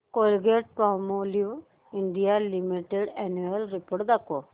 Colgate Palmolive India limited annual report दाखव